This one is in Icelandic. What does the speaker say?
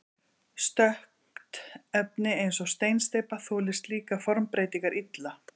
Stökkt efni eins og steinsteypa þolir slíkar formbreytingar illa.